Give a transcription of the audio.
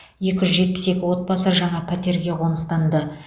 екі жүз жетпіс екі отбасы жаңа пәтерге қоныстанды